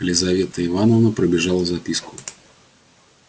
лизавета ивановна пробежала записку